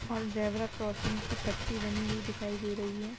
और zebra crossing की पट्टी बनी हुई दिखाई दे रही हैं।